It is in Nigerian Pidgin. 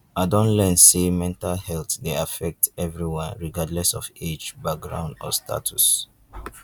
i don learn say mental health dey affect everyone regardless of age background or status.